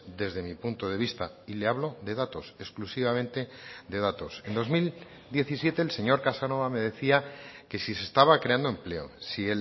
desde mi punto de vista y le hablo de datos exclusivamente de datos en dos mil diecisiete el señor casanova me decía que si se estaba creando empleo si